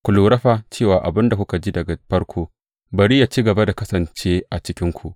Ku lura fa cewa abin da kuka ji daga farko, bari yă ci gaba da kasance a cikinku.